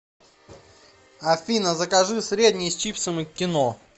афина закажи средний с чипсами к кино